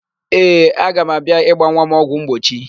Ee, aga m abịa ịgba nwa m ọgwụmgbochi.